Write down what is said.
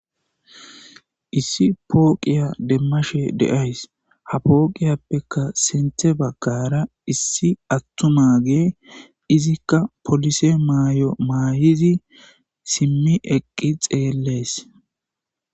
Issi pooqiya demmashe de'ays ha pooqiyappeka sente baggara issi attuma ge izikka polise maay'o maayizi simmi eqqi xeellees.